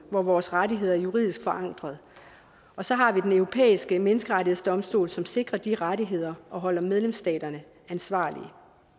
hvor vores rettigheder er juridisk forankret og så har vi den europæiske menneskerettighedsdomstol som sikrer de rettigheder og holder medlemsstaterne ansvarlige